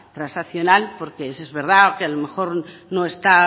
transaccional porque eso es verdad que a lo mejor no está